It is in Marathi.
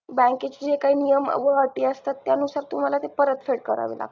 bank चे जे काही नियम व अटी असतात त्यानुसार तुम्हाला ते परतफेड करावे लागतात